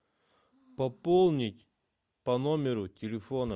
пополнить по номеру телефона